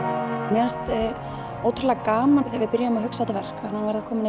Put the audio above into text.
mér fannst ótrúlega gaman þegar við byrjuðum að hugsa um þetta verk fyrir